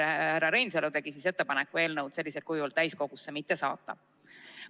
Härra Reinsalu tegi ettepaneku eelnõu sellisel kujul täiskogusse mitte saata.